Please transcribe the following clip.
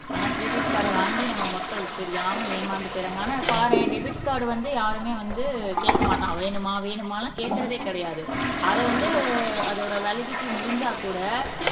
ஆனா கிரெடிட் கார்ட வாங்கி நம்ம மக்கள் தெரியாம ஏமாந்து போயிடுறாங்க ஆனா பாரேன் டெபிட் கார்டு வந்து யாருமே வந்து கேட்க மாட்டான் வேணுமா வேணுமான்னு கேக்குறதே கிடையாது அதை வந்து அதோட வேலிடிட்டி முடிஞ்சா கூட